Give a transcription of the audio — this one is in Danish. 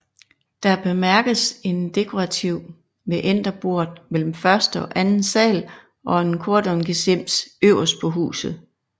Her bemærkes en dekorativ mæanderbort mellem første og anden sal og en kordongesims øverst på huset